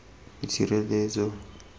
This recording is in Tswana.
itshireletso